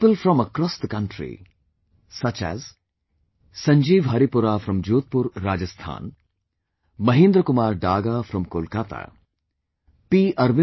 People from across the country, such as Sanjiv Haripura from Jodhpur, Rajasthan, Mahendra Kumar Daga from Kolkata, P